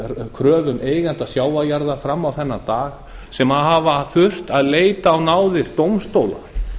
kröfum eigenda sjávarjarða fram á þennan dag sem hafa þurft að leita á náðir dómstóla